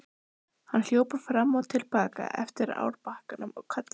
Hann hljóp fram og til baka eftir árbakkanum og kallaði.